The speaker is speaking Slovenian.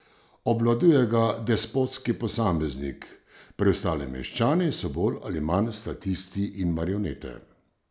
Obvladuje ga despotski posameznik, preostali meščani so bolj ali manj statisti in marionete.